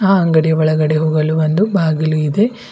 ಅ ಅಂಗಡಿ ಒಳಗಡೆ ಹೋಗಲು ಒಂದು ಬಾಗಿಲು ಇದೆ.